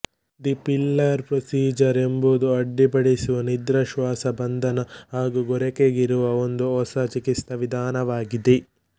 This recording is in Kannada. ದಿ ಪಿಲ್ಲರ್ ಪ್ರೊಸೀಜರ್ ಎಂಬುದು ಅಡ್ಡಿಪಡಿಸುವ ನಿದ್ರಾ ಶ್ವಾಸಬಂಧನ ಹಾಗು ಗೊರಕೆಗಿರುವ ಒಂದು ಹೊಸ ಚಿಕಿತ್ಸಾವಿಧಾನವಾಗಿದೆ